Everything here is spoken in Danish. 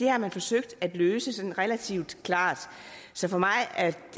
har forsøgt at løse det sådan relativt klart så for mig at